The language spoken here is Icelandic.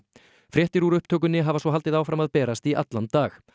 fréttir úr upptökunni hafa svo haldið áfram að berast í allan dag